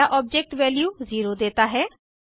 पहला object value 0 देता है